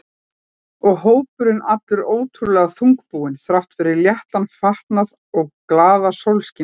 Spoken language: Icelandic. Og hópurinn allur ótrúlega þungbúinn þrátt fyrir léttan fatnað og glaðasólskin úti.